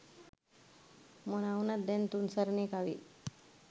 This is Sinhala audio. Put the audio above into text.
මොනා වුණත් දැන් තුන් සරණේ කවිත්